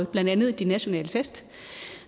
blandt andet de nationale test